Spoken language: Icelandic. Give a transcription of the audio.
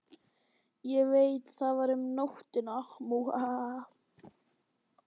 Ég veit það var um nóttina.